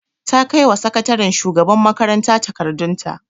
Ta kaiwa sakataren shugaban makaranta takardun ta